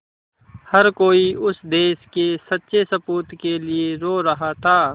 हर कोई उस देश के सच्चे सपूत के लिए रो रहा था